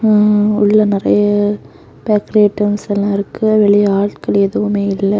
ம் உள்ள நிறைய பேக்கரி ஐட்டம்ஸ் எல்லா இருக்கு. வெளிய ஆட்கள் எதுவுமே இல்ல.